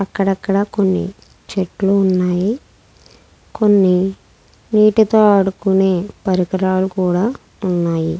అక్కడక్కడ కొన్ని చెట్లు ఉన్నాయి. కొన్ని నీటితో ఆడుకునే పరికరాలు కూడా ఉన్నాయి.